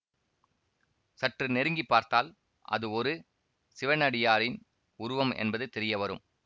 சற்று நெருங்கி பார்த்தால் அது ஒரு சிவனடியாரின் உருவம் என்பது தெரியவரும்